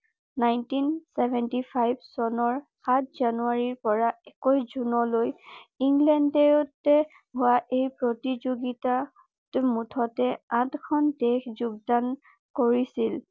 nineteen seventy five চনৰ সাত জানুৱাৰী পৰা একৈশ জুনলৈ ইংলেণ্ডতে হোৱা এই প্ৰতিযোগিতাত মুঠতে আঠখন দেশ যোগদান কৰিছিল